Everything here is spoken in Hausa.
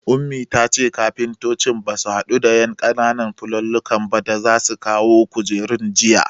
Ummi tace kafuntocin basu hado da ƴan ƙananan fulallikan ba da za su kawo kujerun jiya